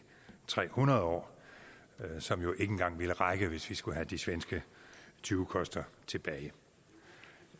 tre hundrede år som jo ikke engang ville række hvis vi skulle have de svenske tyvekoster tilbage